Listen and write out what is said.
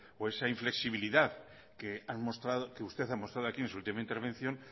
o esa inflexibilidad que usted ha mostrado aquí en su última intervención